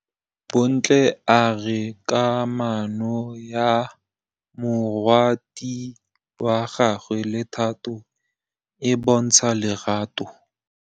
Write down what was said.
Bontle a re kamanô ya morwadi wa gagwe le Thato e bontsha lerato.